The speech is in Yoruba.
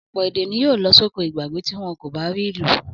Ọ̀pọ̀ èdè ni yóò lọ sóko ìgbàgbé tí wọ́n kò bá rí ìlò.